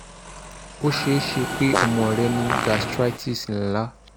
!! o ṣee ṣe pe ọmọ rẹ ni gastritis nla